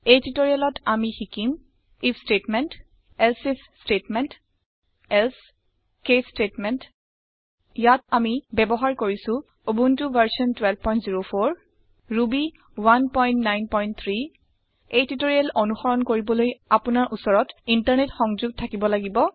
এই টিউটৰিয়েলত আমি শিকিম if statement else if statement else case statements ইয়াত আমি ব্যৱহাৰ কৰিছো উবুন্টু ভাৰ্চন 1204 ৰুবি 193 এই টিউটৰিয়েল অনুসৰণ কৰিবলৈ আপোনাৰ উচৰত ইণ্টাৰনেট সংযোগ থাকিব লাগিব